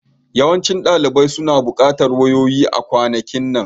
Yawancin ɗalibai suna buƙatar wayoyi a kwanakin nan